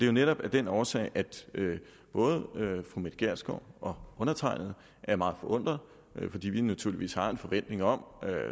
jo netop af den årsag at både fru mette gjerskov og undertegnede er meget forundret fordi vi naturligvis har en forventning om